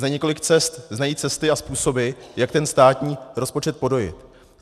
Za několik cest znají cesty a způsoby, jak ten státní rozpočet podojit.